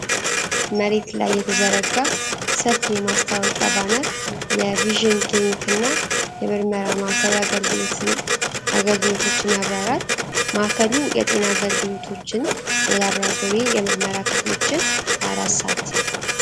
መሬት ላይ የተዘረጋ ሰፊ የማስታወቂያ ባነር የቪዥን ክሊኒክና የምርመራ ማዕከል አገልግሎቶችን ያብራራል። ማዕከሉ የጤና አገልግሎቶችን፣ የላቦራቶሪና የምርመራ ክፍሎችን 24 ሰዓት ይሰጣል